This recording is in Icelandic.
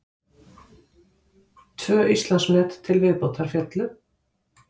Tvö Íslandsmet til viðbótar féllu